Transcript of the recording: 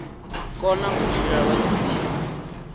kona u tshila lwa tshifhinga